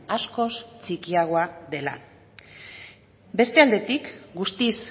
askoz txikiagoa dela beste aldetik guztiz